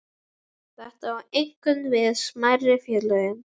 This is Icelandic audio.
Þetta á einkum við um smærri félögin.